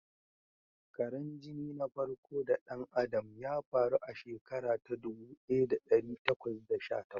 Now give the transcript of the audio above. Karan jini na farko da ɗan Adam ya faru a shekara ta ɗubu ɗaya da ɗari takwas da sha takwas.